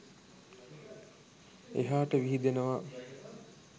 එහාට විහිදෙනවා.